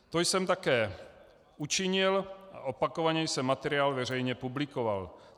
To jsem také učinil a opakovaně jsem materiál veřejně publikoval.